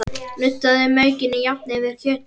Nuddaðu maukinu jafnt yfir kjötið.